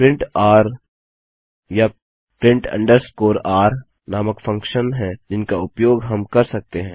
print r या print underscore r नामक function हैं जिनका उपयोग हम कर सकते हैं